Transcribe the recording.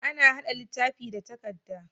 Ana haɗa littafi da takadda